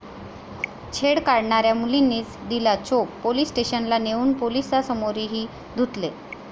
छेड काढणाऱ्यांना मुलींनीच दिला चोप, पोलीस स्टेशनला नेऊन पोलिसांसमोरही धुतले